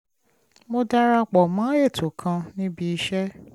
mo dara pọ̀ mọ́ ètò kan níbi iṣẹ́